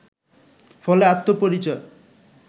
ফলে আত্মপরিচয়